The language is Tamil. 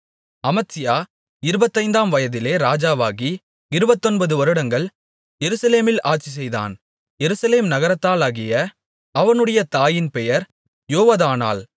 அமத்சியா இருபத்தைந்தாம் வயதிலே ராஜாவாகி இருபத்தொன்பது வருடங்கள் எருசலேமில் ஆட்சிசெய்தான் எருசலேம் நகரத்தாளாகிய அவனுடைய தாயின் பெயர் யொவதானாள்